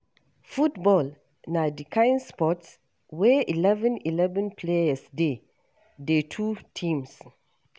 Football na di kain sport wey eleven - eleven players dey dey two teams.